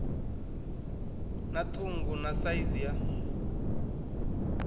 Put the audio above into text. na ṱhungu na saizi ya